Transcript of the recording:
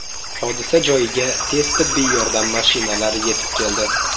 Hodisa joyiga tez tibbiy yordam mashinalari yetib keldi.